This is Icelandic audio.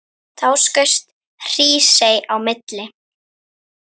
Þá skaust Hrísey á milli.